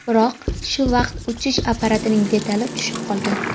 Biroq shu vaqt uchish apparatining detali tushib qolgan.